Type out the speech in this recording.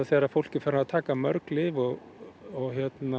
þegar fólk er farið að taka mörg lyf og